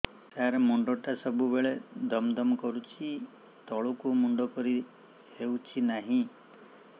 ସାର ମୁଣ୍ଡ ଟା ସବୁ ବେଳେ ଦମ ଦମ କରୁଛି ତଳକୁ ମୁଣ୍ଡ କରି ହେଉଛି ନାହିଁ